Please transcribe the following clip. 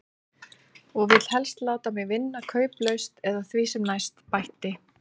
Og vill helst láta mig vinna kauplaust eða því sem næst, bætti